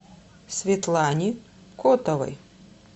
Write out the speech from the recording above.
светлане котовой